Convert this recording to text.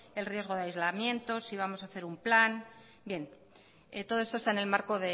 el riesgo de aislamiento si vamos a hacer un plan bien todo esto está en el marco